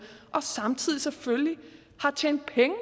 og samtidig selvfølgelig har tjent penge